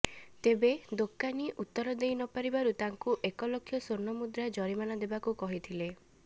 ତେବେ ଦୋକାନୀ ଉତ୍ତର ଦେଇ ନପାରିବାରୁ ତାଙ୍କୁ ଏକ ଲକ୍ଷ ସ୍ୱର୍ଣ୍ଣ ମୁଦ୍ରା ଜରିମାନା ଦେବାକୁ କହିଥିଲେ